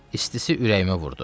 İstisi ürəyimə vurdu.